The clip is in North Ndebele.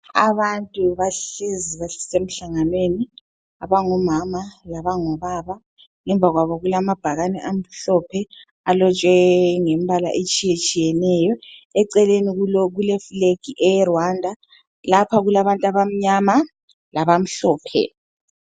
Abantu bahlezi basemhlanganweni, abangomama labangobaba. Ngemva kwabo kulamabhakani amhlophe alotshwe ngembala etshiyetshiyeneyo. Eceleni kuleflegi yeRwanda. Lapha kulabantu abamnyama labamhlophe.